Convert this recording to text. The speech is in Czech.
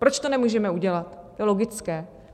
Proč to nemůžeme udělat, je logické.